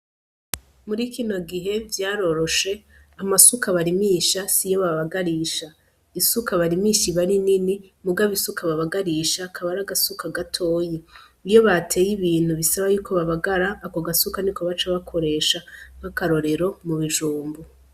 Muri kino gihe vyaroroshe amasuka barimisha siyo babagarisha, isuka barimisha iba ari nini mugabo isuka babagarisha kaba ari agasuka gatoyi niyo bateye ibintu bisaba yuko babagara ako gasuka niko baca bakoresha nk'akarorero mu bijumbu.